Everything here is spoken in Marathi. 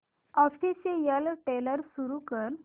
ऑफिशियल ट्रेलर सुरू कर